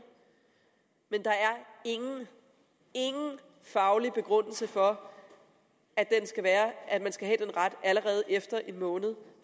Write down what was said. men der er ingen ingen faglig begrundelse for at man skal have den ret allerede efter en måned